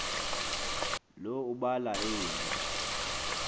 lo ubala eli